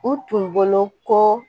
U tun bolo ko